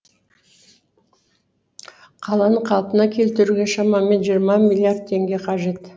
қаланы қалпына келтіруге шамамен жиырма миллиард теңге қажет